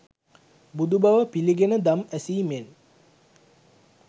බුදුබව පිළිගෙන දම් ඇසීමෙන්